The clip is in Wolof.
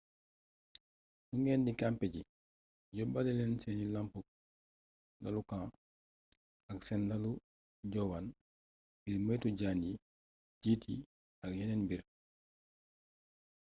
su ngeen di kampe ji yóbbaale leen seen lalu camps ak seen lalu njoowaan ngir moytu jaan yi jiit yi ak yeneen mbir